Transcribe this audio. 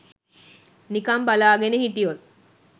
නිකං බලාගෙන හිටියොත්